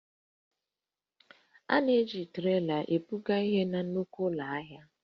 A na-eji troli ebugharị ihe na nnukwu ụlọ ahịa